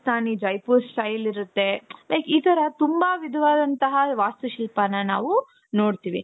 Rajasthani Jaipur style ಇರುತ್ತೆ like ಈ ತರ ತುಂಬಾ ವಿಧವಾದoತಹ ವಾಸ್ತು ಶಿಲ್ಪಾನ ನಾವು ನೋಡ್ತೀವಿ .